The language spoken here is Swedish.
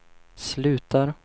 slutar